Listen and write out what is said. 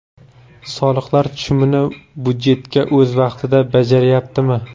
Soliqlar tushumini budjetga o‘z vaqtida bajaryaptimi?